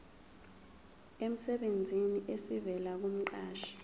emsebenzini esivela kumqashi